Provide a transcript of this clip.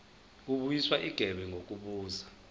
kubuyiswa igebe ngokubuza